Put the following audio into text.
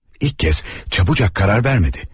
İlk kəz çabucaq qərar vermədi.